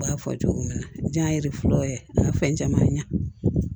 U b'a fɔ cogo min na jaa ye fɔlɔ a ye fɛn caman ɲa